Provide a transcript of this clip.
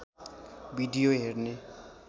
video हेर्ने